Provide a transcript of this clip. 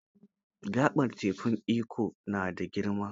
Gaɓar tekun Ikko na da girma.